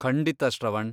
ಖಂಡಿತ, ಶ್ರವಣ್.